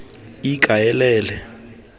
ikaelele